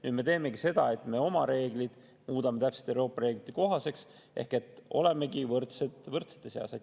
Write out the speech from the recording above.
Nüüd me teemegi seda, et me oma reeglid muudame täpselt Euroopa reeglite kohaseks ehk olemegi võrdsed võrdsete seas.